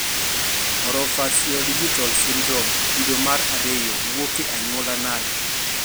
Orofaciodigital syndrome kido mar ariyo wuok e anyuola nade